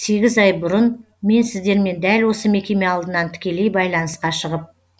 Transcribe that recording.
сегіз ай бұрын мен сіздермен дәл осы мекеме алдынан тікелей байланысқа шығып